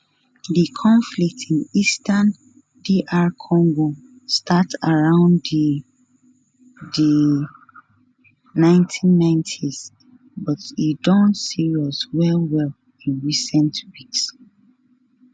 di conflict in eastern dr congo start around di di 1990s but e don serious wellwell in recent weeks